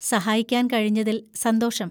സഹായിക്കാൻ കഴിഞ്ഞതിൽ സന്തോഷം!